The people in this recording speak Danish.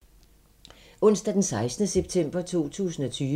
Onsdag d. 16. september 2020